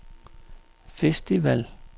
festival